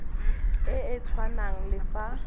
e e tshwanang le fa